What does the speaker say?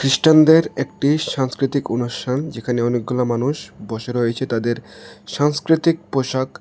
খ্রিস্টানদের একটি সাংস্কৃতিক অনুষ্ঠান যেখানে অনেকগুলা মানুষ বসে রয়েছে তাদের সাংস্কৃতিক পোশাক--